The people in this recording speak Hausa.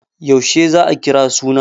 Yaushe za a kira suna?